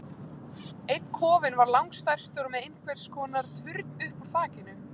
Einn kofinn var langstærstur og með einhvers konar turn upp úr þakinu.